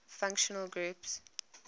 functional groups